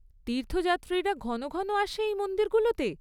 তীর্থযাত্রীরা ঘন ঘন আসে এই মন্দিরগুলোতে?